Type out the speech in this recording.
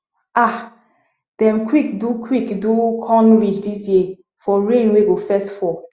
um dem quick do quick do corn ridge this year for rain wey go first fall